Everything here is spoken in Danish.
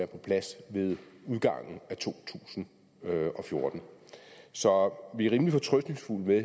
på plads ved udgangen af to tusind og fjorten så vi er rimelig fortrøstningsfulde med